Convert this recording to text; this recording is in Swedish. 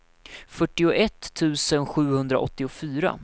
fyrtioett tusen sjuhundraåttiofyra